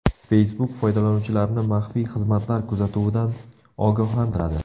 Facebook foydalanuvchilarni maxfiy xizmatlar kuzatuvidan ogohlantiradi.